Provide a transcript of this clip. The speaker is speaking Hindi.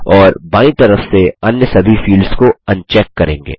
और बायीं तरफ से अन्य सभी फील्ड्स को अनचेक करेंगे